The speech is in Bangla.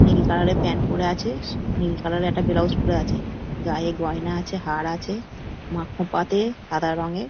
নীল কালার - এর প্যান্ট পরে আছে স নীল কালার - এর একটা ব্লাউজ পরে আছে গায়ে গয়না আছেহার আছে মা খোঁপাতে সাদা রঙের--